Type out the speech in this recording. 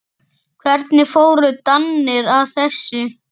Hvernig fóru Danir að þessu?